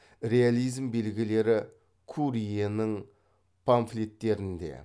реализм белгілері курьенің памфлеттерінде